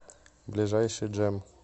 ближайший джем